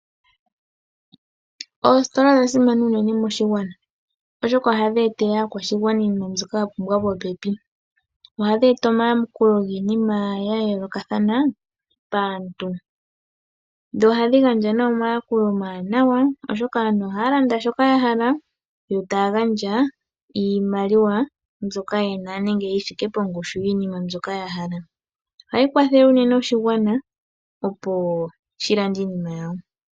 Oositola odha simana unene moshigwana oshoka ohadhi etele aakwashigwana iinima mbyoka ya pumbwa popepi. Ohayi kwathele unene oshigwana opo shi lande iinima yawo